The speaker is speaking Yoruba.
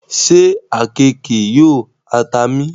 ṣe àkekèé yóò ha ta mí?